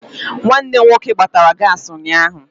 Nwanne m nwoke gbatara gaasị ụnyaahụ.